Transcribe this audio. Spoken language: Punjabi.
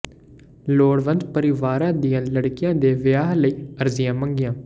ਲੋੜਵੰਦ ਪਰਿਵਾਰਾਂ ਦੀਆਂ ਲੜਕੀਆਂ ਦੇ ਵਿਆਹ ਲਈ ਅਰਜ਼ੀਆਂ ਮੰਗੀਆਂ